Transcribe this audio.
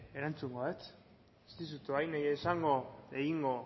erantzungo dut ez dizut orain egingo